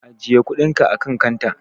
Ajiye kuɗinka akan kanta.